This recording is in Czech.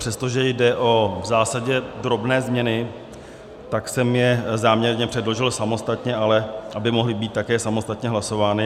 Přestože jde v zásadě o drobné změny, tak jsem je záměrně předložil samostatně, ale aby mohly být také samostatně hlasovány.